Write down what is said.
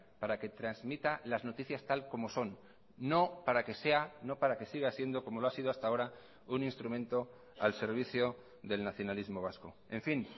para que transmita las noticias tal como son no para que sea no para que siga siendo como lo ha sido hasta ahora un instrumento al servicio del nacionalismo vasco en fin